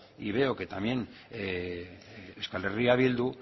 y veo que también euskal herria bildu